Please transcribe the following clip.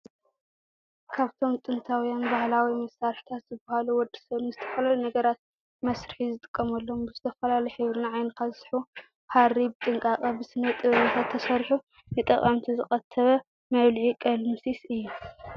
ካብቶም ጥንታውያን ባህላዊ መሳርሕታት ዝበሃሉ ወደሰብ ንዝተፈላለዩ ነገራት መስርሒ ዝጥቀመሎም ብዝተፈላለዩ ሕብሪ ንዓይንኻ ዝስሕቡ ሃሪ ብጥንቃቐ ብስነ ጥበበኛታት ተሰሪሑ ንተጠቀምቲ ዝቐተበ መብልዒ ቀለምሲስ እዩ።